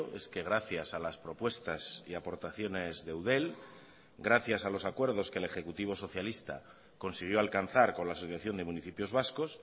es que gracias a las propuestas y aportaciones de eudel gracias a los acuerdos que el ejecutivo socialista consiguió alcanzar con la asociación de municipios vascos